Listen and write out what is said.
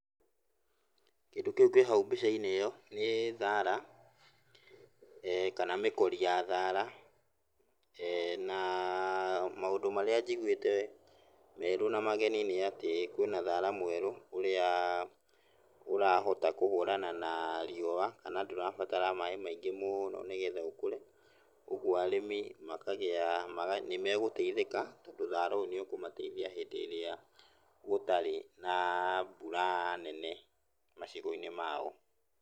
Kĩndũ kĩu kĩ hau mbica-inĩ ĩyo nĩ thara, eh kana mĩkori ya thara, na maũndũ marĩa njigũĩte merũ na mageni nĩ atĩ kwĩna thara mwerũ, ũrĩaa ũrahota kũhũrana na riũa, kana ndũrabatara maĩ maingĩ mũũno nĩgetha ũkũre. Kuoguo arĩmi makagĩaa nĩmegũteithĩka, tondũ thara ũyũ nĩũkũmateithia hĩndĩ ĩrĩa gũtarĩ na mbura nene macigo-inĩ mao.